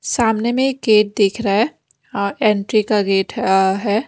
सामने में एक गेट दिख रहा है और एंट्री का गेट अह है।